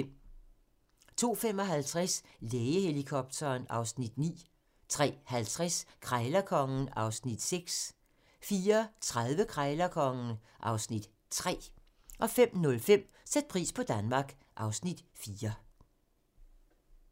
02:55: Lægehelikopteren (Afs. 9) 03:50: Krejlerkongen (Afs. 6) 04:30: Krejlerkongen (Afs. 3) 05:05: Sæt pris på Danmark (Afs. 4)